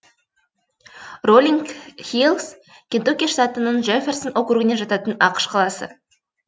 роллинг хиллс кентукки штатының джэфферсон округіне жататын ақш қаласы